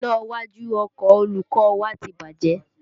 Iná iwájú ọkọ olùkọ́ ọ wa ti bàjẹ́